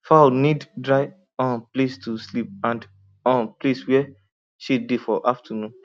fowl need dry um place to sleep and um place where shade dey for afternoon